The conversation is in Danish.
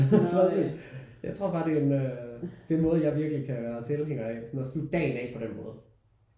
Præcis jeg tror bare det er en øh det er en måde jeg virkelig kan være tilhænger af sådan at slutte dagen af på den måde